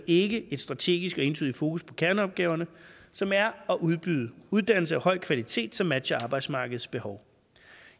ikke et strategisk og entydigt fokus på kerneopgaverne som er at udbyde uddannelser af høj kvalitet som matcher arbejdsmarkedets behov